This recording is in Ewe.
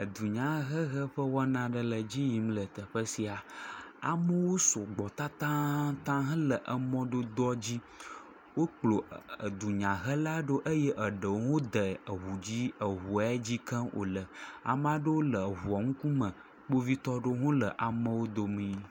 Eunyahehe ƒe wɔna aɖe le edzi yim le teƒe sia. Amewo sugbɔ tatataŋ hele emɔdodoa dzi wokplɔ e edunyahela ɖo eye eɖewo hã de eŋu dzi eŋu ya dzi ke wo le. Ame aɖewo le eŋua ŋkume. Kpovitɔ aɖewo hã le ameawo domi.